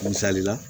Misali la